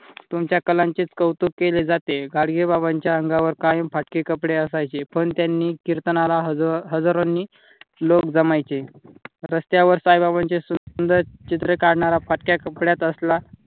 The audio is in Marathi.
तुमच्या कलांचेच कौतुक केले जाते. गाडगे बाबांच्या अंगावर कायम फाटकी कपडे असायची पण त्यांनी कीर्तनाला हजारांनी लोक जमायचे रस्त्यावर साईबाबांचे सुंदर चित्र काढणारा फाटक्या कपड्यात असला.